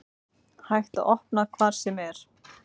Hægt að opna hvar sem er